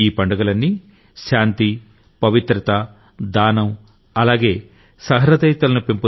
ఈ పండుగలన్నీ శాంతి పవిత్రత దానం అలాగే సహృదయతలను